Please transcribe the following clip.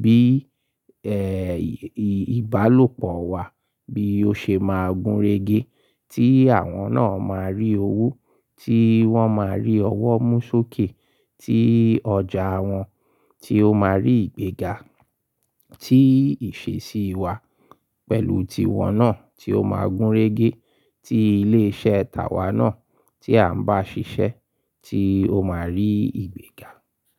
bí, ìbálòpọ̀ wa bí ó ṣe máa gúnrégé, tí àwọn náà máa rí owó, tí wọ́n máa rí ọwọ́ mú sókè, tí ọjà wọn tí ó máa rí ìgbéga, tí ìṣesí wa pẹ̀lú ti wọn náà tí ó máa gúnrégé, tí ilé iṣẹ́ tàwa náà tí à ń bá ṣiṣẹ́ tí ó máa rí ìgbéga.